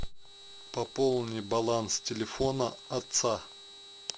пополни баланс телефона отца